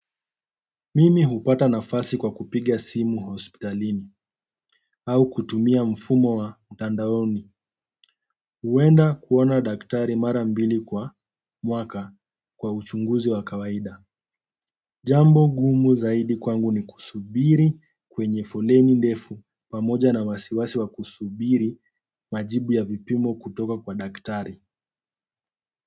Mimi hupata nafasi kwa kupiga simu hospitalini au kutumia mfumo wa mtandaoni. Huenda kuona daktari mara mbili kwa mwaka kwa uchunguzi wa kawaida. Jambo ngumu zaidi kwangu ni kusubiri kwenye foleni ndefu pamoja na wasiwasi wa kusubiri majibu ya vipimo kutoka kwa daktari.